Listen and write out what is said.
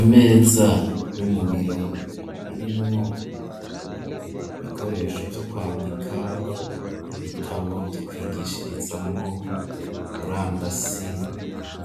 Imeza yo mubiro irimwo ibikoresho vyo kwandika ibitabo vyo kwigishirizamwo murandasi